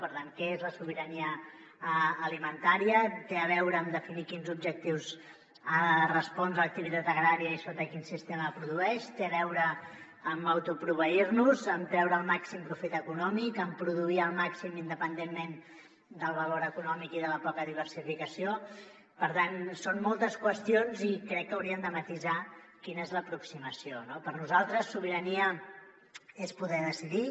per tant què és la sobirania alimentària té a veure amb definir a quins objectius ha de respondre l’activitat agrària i sota quin sistema produeix té a veure amb autoproveir nos amb treure el màxim profit econòmic amb produir al màxim independentment del valor econòmic i de la poca diversificació per tant són moltes qüestions i crec que hauríem de matisar quina és l’aproximació no per nosaltres sobirania és poder decidir